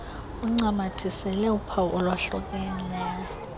uncamathisele uphawu olwahlukileyo